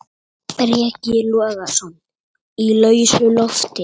Breki Logason: Í lausu loft?